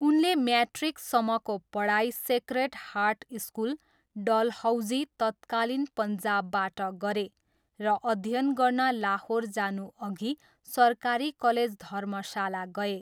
उनले म्याट्रिकसम्मको पढाइ सेक्रेड हार्ट स्कुल, डलहौजी, तत्कालीन पन्जाबबाट गरे र अध्ययन गर्न लाहोर जानुअघि सरकारी कलेज धर्मशाला गए।